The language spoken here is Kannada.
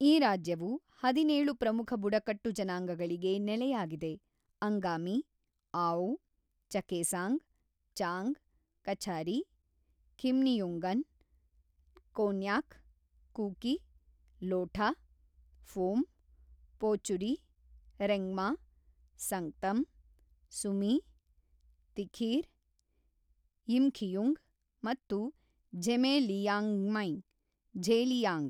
ಈ ರಾಜ್ಯವು ಹದಿನೇಳು ಪ್ರಮುಖ ಬುಡಕಟ್ಟು ಜನಾಂಗಗಳಿಗೆ ನೆಲೆಯಾಗಿದೆ-ಅಂಗಾಮಿ, ಆಓ, ಚಕೇಸಾಂಗ್, ಚಾಂಗ್, ಕಛಾರಿ, ಖಿಮ್ನಿಯುಂಗನ್, ಕೋನ್ಯಾಕ್, ಕೂಕಿ, ಲೋಠಾ, ಫೋಮ್, ಪೋಚುರಿ, ರೆಂಗ್ಮಾ, ಸಂಗ್ತಮ್, ಸುಮೀ, ತಿಖೀರ್, ಯಿಮ್ಖಿಯುಂಗ್ ಮತ್ತು ಝೆಮೆ-ಲಿಯಾಂಗ್ಮೈ (ಝೇಲಿಯಾಂಗ್).